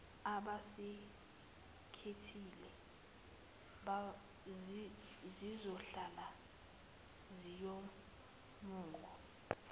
abasikhethile zizohlala ziwumongo